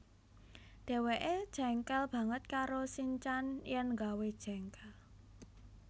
Dheweke jengkel banget karo sinchan yen gawé jengkel